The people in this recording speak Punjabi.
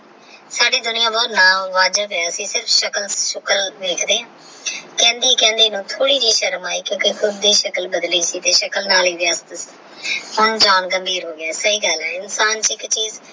ਸਾਰੀ ਦੁਨੀਆਂ ਬੜੀ ਅਸੀਂ ਸਿਰਫ ਸ਼ਕਲ ਸ਼ੁਕਲ ਵੇਖਦੇ ਹਾਂ ਕਹਿੰਦੀ ਕਹਿੰਦੀ ਨੂੰ ਥੋੜੀ ਥੋੜੀ ਜੀ ਸ਼ਰਮ ਆਈ ਕਿਉਂਕਿ ਖੁੱਦ ਦੀ ਸ਼ਕਲ ਬੱਦਲੀ ਸੀ ਤੇ ਸ਼ਕਲ ਨਾਲ ਹੀ ਵਿਆਹ ਹੋ ਗਿਆ ਹੁਣ John ਤੇ ਆਮਿਰ ਹੋ ਗਿਆ ਸਹੀ ਗੱਲ ਹੈ ਇਨਸਾਨ ਕੀ ਕੀ।